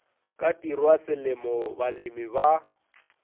ka tirwa selemo balemi ba